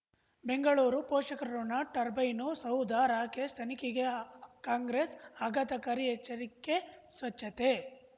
ಬೆಂಗಳೂರು ಪೋಷಕರಋಣ ಟರ್ಬೈನು ಸೌಧ ರಾಕೇಶ್ ತನಿಖೆಗೆ ಅ ಅ ಕಾಂಗ್ರೆಸ್ ಆಘಾತಕಾರಿ ಎಚ್ಚರಿಕೆ ಸ್ವಚ್ಛತೆ